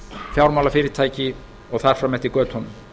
fjármálafyrirtæki og þar fram eftir götunum